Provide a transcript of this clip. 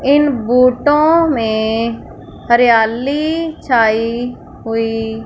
इन बूटों में हरियाली छाई हुई--